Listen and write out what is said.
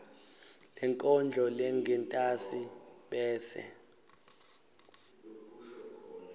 lenkondlo lengentasi bese